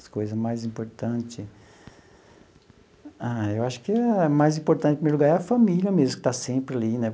As coisas mais importante... Ah, eu acho que a mais importante em primeiro lugar é a família mesmo, que está sempre ali, né?